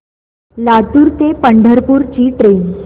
लातूर ते पंढरपूर ची ट्रेन